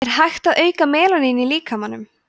er hægt að auka melanín í líkamanum